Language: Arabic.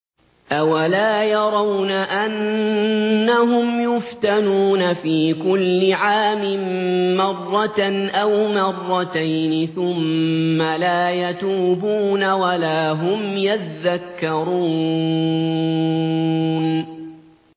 أَوَلَا يَرَوْنَ أَنَّهُمْ يُفْتَنُونَ فِي كُلِّ عَامٍ مَّرَّةً أَوْ مَرَّتَيْنِ ثُمَّ لَا يَتُوبُونَ وَلَا هُمْ يَذَّكَّرُونَ